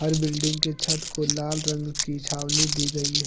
हर building के छत को लाल रंग की छावनी दी गई है।